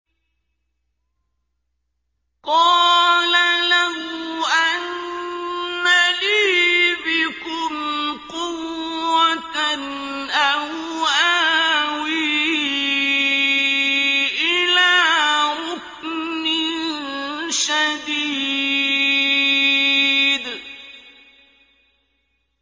قَالَ لَوْ أَنَّ لِي بِكُمْ قُوَّةً أَوْ آوِي إِلَىٰ رُكْنٍ شَدِيدٍ